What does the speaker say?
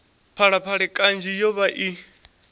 phalaphala kanzhi yo vha i